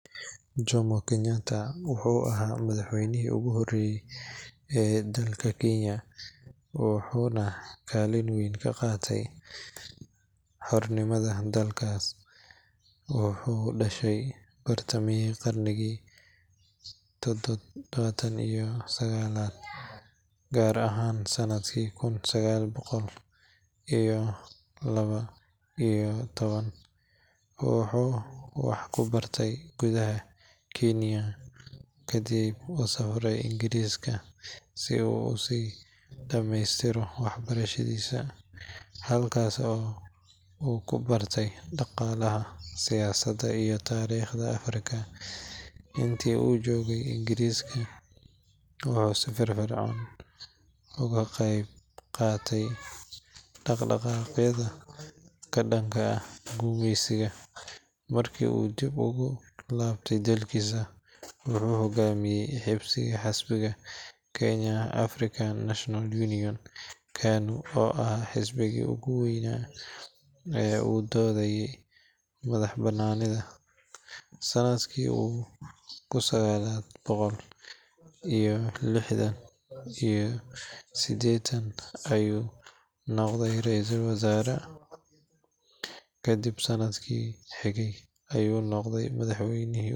Jomo Kenyatta wuxuu ahaa madaxweynihii ugu horreeyay ee dalka Kiiniya wuxuuna kaalin weyn ka qaatay xornimada dalkaas. Wuxuu dhashay bartamihii qarnigii tobnaad iyo sagaalaad, gaar ahaan sanadkii kun sagaal boqol iyo laba iyo toban. Wuxuu wax ku bartay gudaha Kiiniya ka dibna u safray Ingiriiska si uu u sii dhameystiro waxbarashadiisa, halkaas oo uu ku bartay dhaqaalaha, siyaasadda iyo taariikhda Afrika. Intii uu joogay Ingiriiska wuxuu si firfircoon uga qayb qaatay dhaqdhaqaaqyada ka dhanka ahaa gumeysiga. Markii uu dib ugu laabtay dalkiisa, wuxuu hoggaamiyey xisbiga Kenya African National Union KANU oo ahaa xisbigii ugu weynaa ee u doodayey madaxbannaanida. Sanadkii kun sagaal boqol iyo lixdan iyo seddex ayuu noqday ra’iisul wasaare, kadibna sanadkii xigay ayuu noqday madaxweynihii ugu horreeyay.